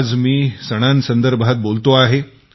आज मी सणासंदर्भात बोलतो आहे